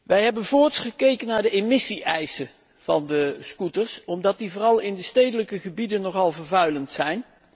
Wij hebben voorts gekeken naar de emissie eisen van de scooters, omdat die vooral in de stedelijke gebieden nogal vervuilend zijn.